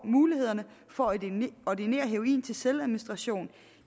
mulighederne for at ordinere heroin til selvadministration